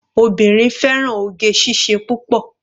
Obìnrin fẹ́ràn oge síṣe púpọ̀.